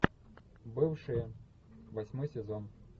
бывшие восьмой сезон